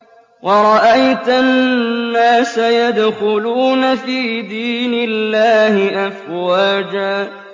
وَرَأَيْتَ النَّاسَ يَدْخُلُونَ فِي دِينِ اللَّهِ أَفْوَاجًا